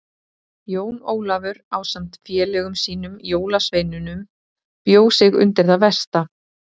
Jón Ólafur ásamt félögum sínum jólasveinunum bjó sig undir það versta.